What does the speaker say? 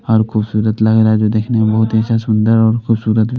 और खूबसूरत लग रहा है जो देखने में बहुत ही अच्छा सुंदर और खूबसूरत --